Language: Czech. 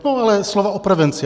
Tohle je slovo o prevenci.